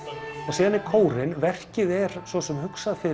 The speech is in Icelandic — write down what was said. síðan er kórinn verkið er svo sem hugsað fyrir